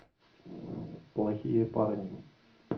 плохие парни